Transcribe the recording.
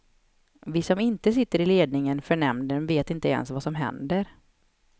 Vi som inte sitter i ledningen för nämnden vet inte ens vad som händer.